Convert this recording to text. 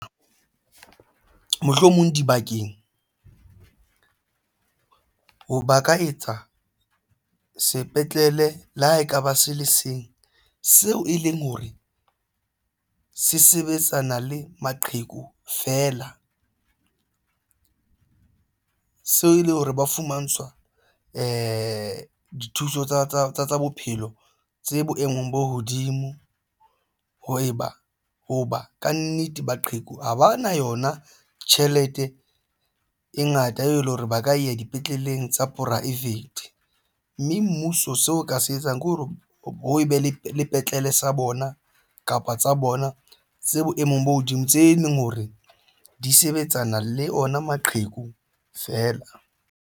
Mohlomong dibakeng ho ba ka etsa sepetlele le ha ekaba se le seng seo e leng hore se sebetsana le maqheku fela seo e le hore ba fumantshwa dithuso tsa bophelo tse boemong bo hodimo hoba kannete maqheku ha ba na yona tjhelete e ngata e leng hore ba ka ya dipetleleng tsa poraefete. Mme mmuso seo o ka se etsang ke hore ho be le sepetlele sa bona kapa tsa bona tse boemong bo hodimo tse leng hore di sebetsana le ona maqheku fela.